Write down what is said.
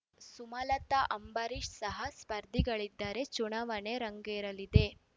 ಸುಮಲತಾ ಅಂಬರೀಷ್ ಸಹ ಸ್ಪರ್ಧೆಗಳಿದರೆ ಚುನಾವಣೆ ರಂಗೇರಲಿದೆ